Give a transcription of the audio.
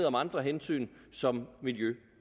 om andre hensyn som miljø